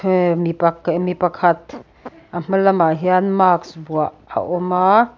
hee mipak eh mi pakhat a hma lamah hian mask vuah a awm a.